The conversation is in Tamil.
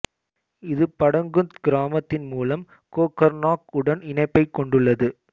இது படகுந்த் கிராமத்தின் மூலம் கோக்கர்நாக் உடன் இணைப்பைக் கொண்டுள்ளது